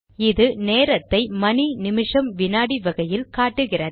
இது நேரத்தை மணி நிமிஷம் வினாடி வகையில் காட்டுகிறது